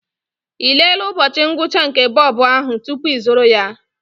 Ị lelee ụbọchị ngwụcha nke bobo ahụ tupu ịzụrụ ya?